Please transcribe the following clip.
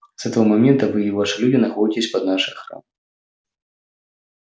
с этого момента вы и ваши люди находитесь под нашей охраной